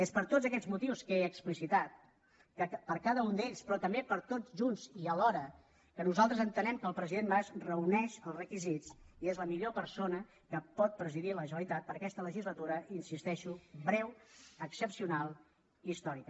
és per tots aquests motius que he explicitat per a cada un d’ells però també per tots junts i alhora que nosaltres entenem que el president mas reuneix els requisits i és la millor persona que pot presidir la generalitat per a aquesta legislatura hi insisteixo breu excepcional i històrica